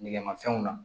Nɛgɛmafɛnw na